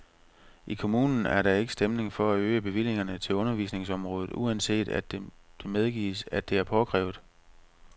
I kommunen er der ikke stemning for at øge bevillingerne til undervisningsområdet, uanset at det medgives, at det er påkrævet.